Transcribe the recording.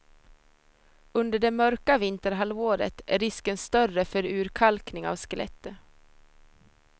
Under det mörka vinterhalvåret är risken större för urkalkning av skelettet.